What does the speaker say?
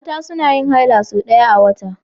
Mata suna yin haila sau ɗaya a wata.